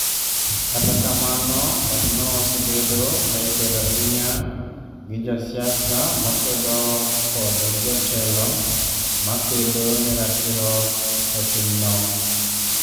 Kata kamano, wachno osebedo ka ikwedo ahinya gi josiasamakwedo kod jotelo makedo ne ratiroe pinyno.